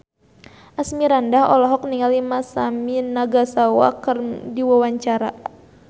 Asmirandah olohok ningali Masami Nagasawa keur diwawancara